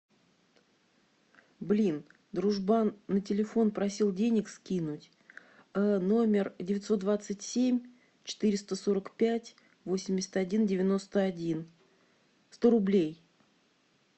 блин дружбан на телефон просил денег скинуть номер девятьсот двадцать семь четыреста сорок пять восемьдесят один девяносто один сто рублей